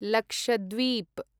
Lakshadweep